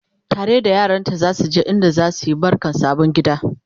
tare da yaranta zasu je inda zasuyi barkan sabon gida